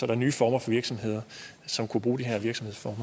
er nye former for virksomheder som kunne bruge de her virksomhedsformer